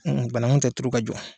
Banaku tɛ turu ka jɔ.